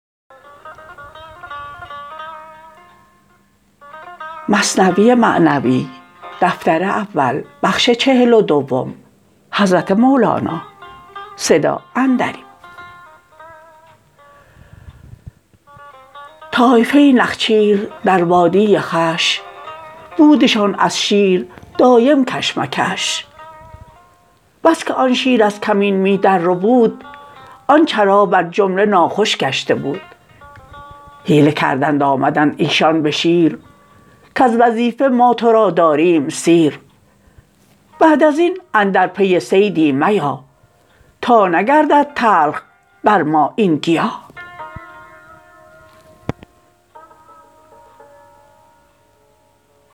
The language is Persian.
طایفه نخچیر در وادی خوش بودشان از شیر دایم کش مکش بس که آن شیر از کمین می در ربود آن چرا بر جمله ناخوش گشته بود حیله کردند آمدند ایشان بشیر کز وظیفه ما ترا داریم سیر بعد ازین اندر پی صیدی میا تا نگردد تلخ بر ما این گیا